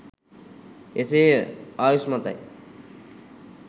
එසේ ය ආයුෂ්මත යි